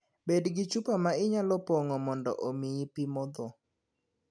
Bed gi chupa ma inyalo pong'o mondo omiyi pi modho.